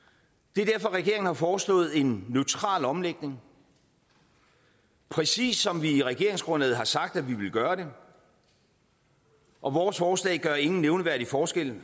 det er derfor regeringen har foreslået en neutral omlægning præcis som vi i regeringsgrundlaget har sagt at vi ville gøre det og vores forslag gør ingen nævneværdig forskel i